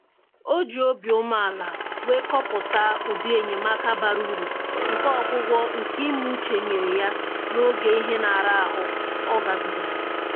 O ji obi umeala wee kọwapụta ụdị enyemaka bara uru nke ọgwụgwọ nke ime uche nyere ya n'oge ihe ira ahụ ọ gabigara